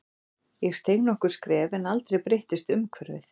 Ég steig nokkur skref en aldrei breyttist umhverfið.